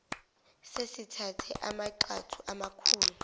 sesithathe amagxathu amakhulu